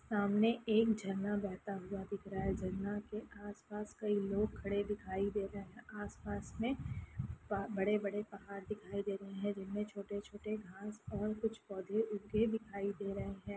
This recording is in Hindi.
सामने एक झरना बहता हुआ दिख रहा है झरना के आस-पास कई लोग खड़े दिखाई दे रहे हैं। आस-पास में बड़े-बड़े पहाड़ दिखाई दे रहे हैं जिनमें छोटे-छोटे घांस और कुछ पौधे उगे दिखाई दे रहे हैं।